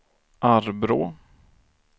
Arbrå